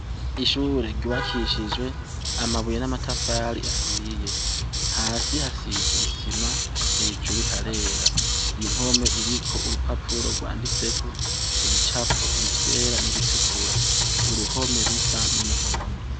Ishure ryubakishije amabuye n' amatafari ahiye hasi hasize isima hejuru harera impome iriko urupapuro gwanditseko ibicapo ivyera n' ibitukura uruhome rusa n' umuhondo.